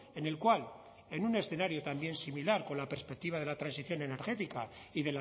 en el cual en un escenario también similar con la perspectiva de la transición energética y